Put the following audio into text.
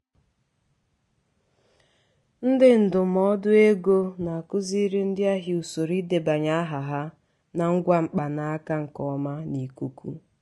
ndị ndụmọdụ ego na-akụziri ndị ahịa usoro idebanye aha na ngwa mkpanaka nke ọma n'ikuku